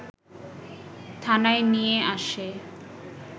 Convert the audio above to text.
থানায় নিয়ে আসে